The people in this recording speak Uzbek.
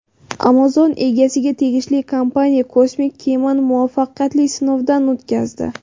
Amazon egasiga tegishli kompaniya kosmik kemani muvaffaqiyatli sinovdan o‘tkazdi.